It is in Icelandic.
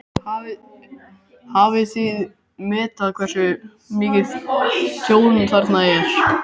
Hafið þið metið hversu mikið tjón þarna er?